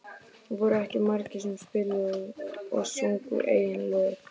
Það voru ekki margir sem spiluðu og sungu eigin lög.